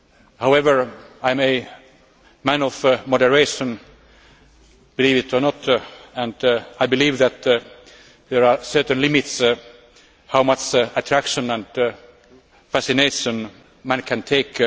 However, I am a man of moderation believe it or not and I believe that there are certain limits to how much attraction and fascination a man can take.